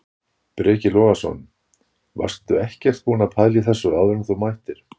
Breki Logason: Varstu ekkert búinn að pæla í þessu áður en þú mættir?